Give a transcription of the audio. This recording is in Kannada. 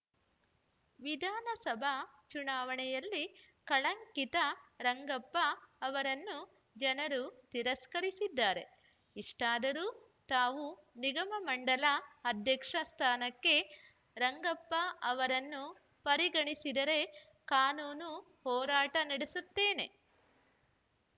ವಿಧಾನಸಭಾ ಚುನಾವಣೆಯಲ್ಲಿ ಕಳಂಕಿತ ರಂಗಪ್ಪ ಅವರನ್ನು ಜನರು ತಿರಸ್ಕರಿಸಿದ್ದಾರೆ ಇಷ್ಟಾದರೂ ತಾವು ನಿಗಮಮಂಡಳ ಅಧ್ಯಕ್ಷ ಸ್ಥಾನಕ್ಕೆ ರಂಗಪ್ಪ ಅವರನ್ನು ಪರಿಗಣಿಸಿದರೆ ಕಾನೂನು ಹೋರಾಟ ನಡೆಸುತ್ತೇನೆ